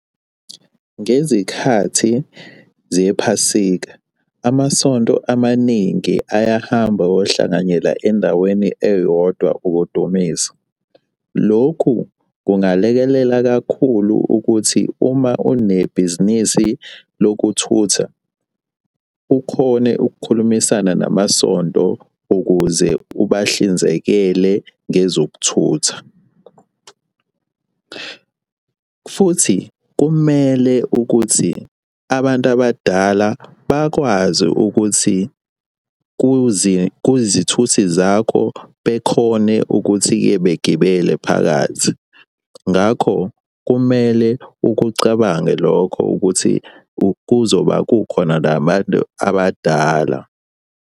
Ngezikhathi zephasika, amasonto amaningi ayahamba ayohlanganyela endaweni eyodwa ukudumisa. Lokhu kungalekelela kakhulu ukuthi uma unebhizinisi lokuthutha, ukhone ukukhulumisana namasonto ukuze ubahlinzekela ngezokuthutha, futhi kumele ukuthi abantu abadala bakwazi ukuthi kuzithuthi zakho bekhone ukuthi-ke begibele phakathi. Ngakho kumele ukucabange lokho ukuthi kuzoba kukhona nabantu abadala.